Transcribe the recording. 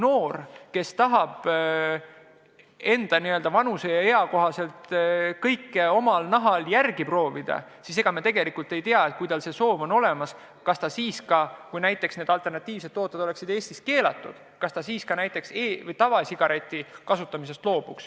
Me ei tea, kas noor, kes oma vanusele kohaselt tahab kõike omal nahal järele proovida, loobuks ka tavasigarettidest, kui need alternatiivsed tooted oleksid Eestis keelatud.